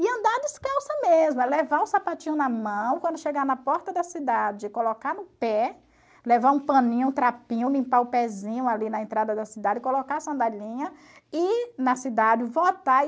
E andar descalça mesmo, é levar o sapatinho na mão, quando chegar na porta da cidade, colocar no pé, levar um paninho, um trapinho, limpar o pezinho ali na entrada da cidade, colocar a sandalinha e ir na cidade votar.